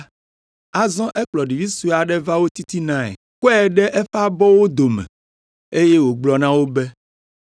Azɔ ekplɔ ɖevi sue aɖe va wo titinae, kɔe ɖe eƒe abɔwo dome, eye wògblɔ na wo be,